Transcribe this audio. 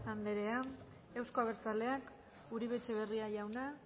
andrea euzko abertzaleak uribe etxebarria jauna